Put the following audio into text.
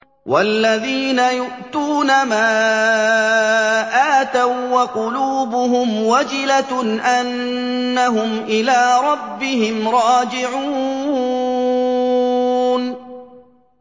وَالَّذِينَ يُؤْتُونَ مَا آتَوا وَّقُلُوبُهُمْ وَجِلَةٌ أَنَّهُمْ إِلَىٰ رَبِّهِمْ رَاجِعُونَ